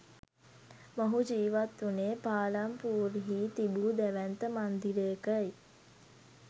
මොහු ජීවත් වුණේ පාලම්පූර් හි තිබූ දැවැන්ත මන්දිරයකයි.